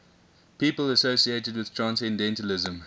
people associated with transcendentalism